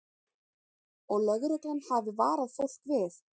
Og lögreglan hafi varað fólk við